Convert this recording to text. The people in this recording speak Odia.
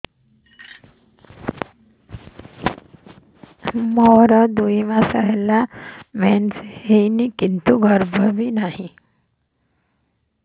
ମୋର ଦୁଇ ମାସ ହେଲା ମେନ୍ସ ହେଇନି କିନ୍ତୁ ଗର୍ଭ ବି ନାହିଁ